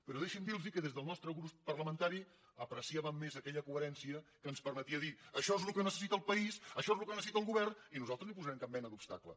però deixi’m dir los que des del nostre grup parlamentari apreciàvem més aquella coherència que ens permetia dir això és el que necessita el país això és el que necessita el govern i nosaltres no hi posarem cap mena d’obstacle